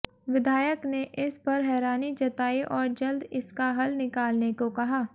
विधायक ने इस पर हैरानी जताई और जल्द इसका हल निकालने को कहा